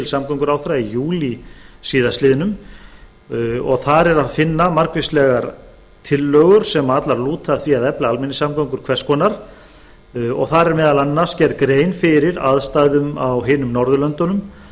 samgönguráðherra í júlí síðastliðinn og þar er að finna margvíslegar tillögur sem allar lúta að því að efla almenningssamgöngur hvers konar og þar er meðal annars gerð grein fyrir aðstæðum á hinum norðurlöndunum